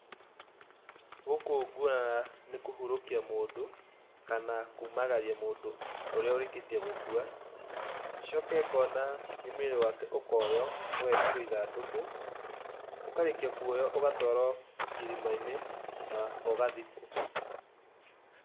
Gũkũ guarara ni kũhurũkia mũndũ, kana kumagaria mũndũ ũrĩa ũrĩkĩtie gũkua, coke ngona nĩ mwĩrĩ wake ũkoywo, ũgekĩrwo ithandũkũ, ũkarĩkia kũoywo ũgatwarwo irima-inĩ, na ũgathikwo.